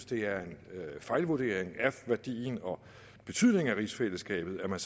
det er en fejlvurdering af værdien og betydningen af rigsfællesskabet at man